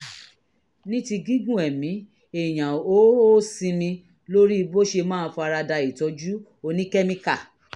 ní ti gígùn ẹ̀mí èèyàn ó ó sinmi lórí bó ṣe máa fara da ìtọ́jú oníkẹ́míkà